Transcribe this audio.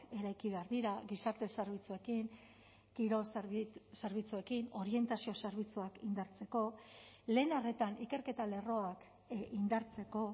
eraiki behar dira gizarte zerbitzuekin kirol zerbitzuekin orientazio zerbitzuak indartzeko lehen arretan ikerketa lerroak indartzeko